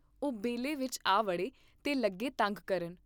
ਓਹ ਬੇਲੇ ਵਿਚ ਆ ਵੜੇ ਤੇ ਲੱਗੇ ਤੰਗ ਕਰਨ।